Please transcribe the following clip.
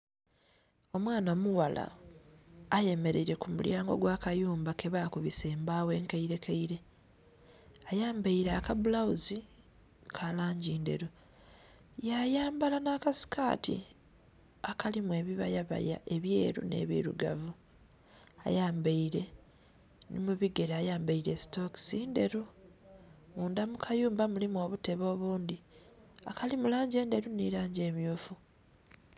Omwaana mughala ayemereire ku mu lyango gwa kayumba ke bakubisa embawo enkaire keire ayambaire aka bulaghuzi ka langi ndheru ya yambala nha la sikati akalimu ebibaya baya ebyeru nhe birugavu ayambaire nhi mu bigere ayambaire sitokisi ndheru. Munda mu kayumba mulimu obutebe obundhi akali mu langi endheru nhe langi emyufu